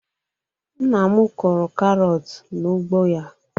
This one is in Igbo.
Nna m kụrụ karọt n'ugbo ya.